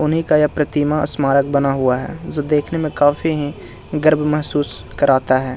उन्ही का ये प्रतिमा स्मारक बना हुआ है जो देखने में काफी हीं गर्व महसूस कराता है।